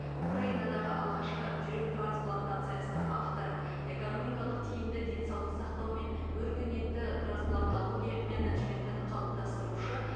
украинадағы алғашқы жүрек трансплантациясының авторы экономикалық тиімді денсаулық сақтау мен өркениетті трансплантология менеджментін қалыптастырушы